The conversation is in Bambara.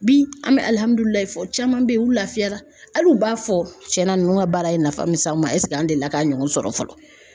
Bi an me fɔ caman bɛ yen u lafiyara hal'u b'a fɔ tiɲɛna ninnu ka baara ye nafa min s'anw ma ɛsek'an delila k'a ɲɔgɔn sɔrɔ fɔlɔ .